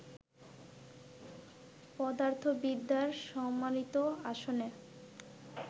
পদার্থবিদ্যার সম্মানিত আসনে